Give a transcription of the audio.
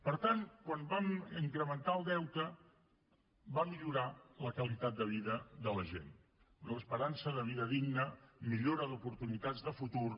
per tant quan vam incrementar el deute va millorar la qualitat de vida de la gent una esperança de vida digna millora d’oportunitats de futur